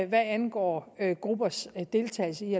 hvad angår nogle gruppers deltagelse i